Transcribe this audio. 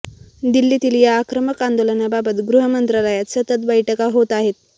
दिल्लीतील या आक्रमक आंदोलनाबाबत गृह मंत्रालयात सतत बैठका होत आहेत